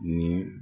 Ni